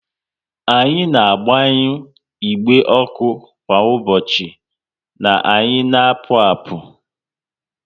Anyi na agbanyu igbe ọkụ kwa ụbọchị na anyị na apụ apu